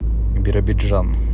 биробиджан